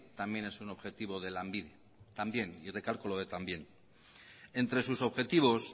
también es un objetivo de lanbide también y recalco lo de también entre sus objetivos